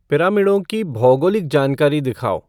पिरामिडों की भौगोलिक जानकारी दिखाओ